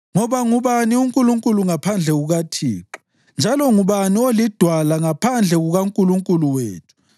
Ngoba ngubani uNkulunkulu ngaphandle kukaThixo? Njalo ngubani oliDwala ngaphandle kukaNkulunkulu wethu na?